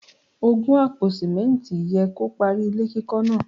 Ògùn àpò Símẹ́ǹtì yẹ kó parí ilé kíkọ́ náà.